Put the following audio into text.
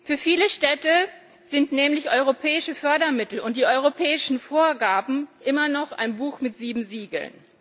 Für viele Städte sind nämlich europäische Fördermittel und die europäischen Vorgaben immer noch ein Buch mit sieben Siegeln.